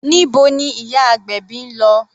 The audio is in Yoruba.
Níbo ni ìyá agbèbí ń lọ?